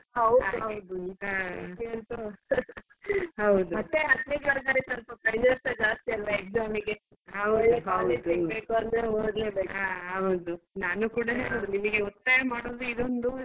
ಹೌದು ಹೌದು ಮತ್ತೆ ಹತ್ತನೇ class ನವರಿಗೆ ಸ್ವಲ್ಪ pressure ಸ ಜಾಸ್ತಿ ಅಲ್ವಾ exam ಗೆ.